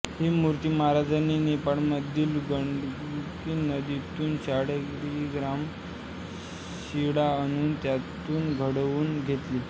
ही मूर्ती महराजांनी नेपाळमधील गंडकी नदीतून शाळिग्राम शिळा आणून त्यातून घडवून घेतली